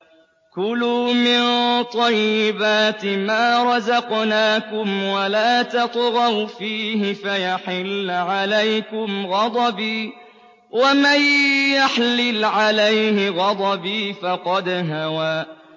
كُلُوا مِن طَيِّبَاتِ مَا رَزَقْنَاكُمْ وَلَا تَطْغَوْا فِيهِ فَيَحِلَّ عَلَيْكُمْ غَضَبِي ۖ وَمَن يَحْلِلْ عَلَيْهِ غَضَبِي فَقَدْ هَوَىٰ